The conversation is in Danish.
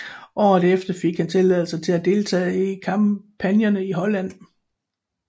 Året efter fik han tilladelse til at deltage i kampagnerne i Holland